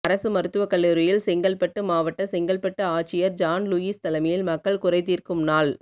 அரசு மருத்துவக் கல்லூரியில் செங்கல்பட்டு மாவட்ட செங்கல்பட்டு ஆட்சியா் ஜான் லூயிஸ் தலைமையில் மக்கள் குறைதீா்க்கும் நாள்